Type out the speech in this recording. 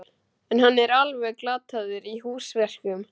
En hann er alveg glataður í húsverkum.